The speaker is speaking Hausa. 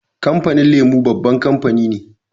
Kamfanin lemo babban kamfani ne